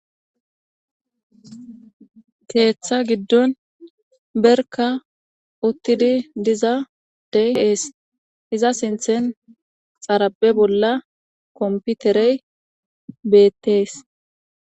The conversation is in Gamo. Keeththa giddon berka uttidi diza dey ees iza sinthen xarape bolla komputerey beettees.